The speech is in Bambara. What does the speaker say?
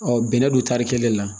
bɛnɛ don tari kelen la